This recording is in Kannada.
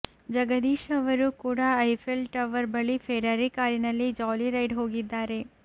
ಜಗದೀಶ್ ಅವರು ಕೂಡ ಐಫೆಲ್ ಟವರ್ ಬಳಿ ಫೆರಾರಿ ಕಾರಿನಲ್ಲಿ ಜಾಲಿ ರೈಡ್ ಹೋಗಿದ್ದಾರೆ